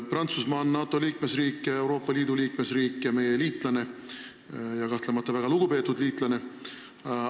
Prantsusmaa on NATO liikmesriik ja Euroopa Liidu liikmesriik ning meie liitlane, seejuures kahtlemata väga lugupeetud liitlane.